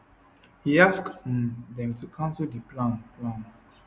e ask um dem to cancel di plan plan